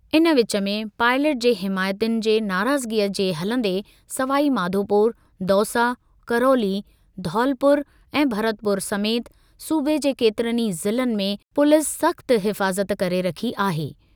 इन विच में, पाइलट जे हिमाइतियुनि जे नाराज़गीअ जे हलंदे सवाई माधोपुर, दौसा, करौली, धौलपुर ऐं भरतपुर समेति सूबे जे केतिरनि ई ज़िलनि में पुलिस सख़्त हिफ़ाज़त करे रखी आहे।